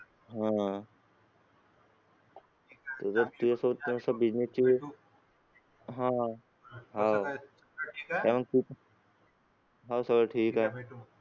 आह हाव सगळं ठीक आहे.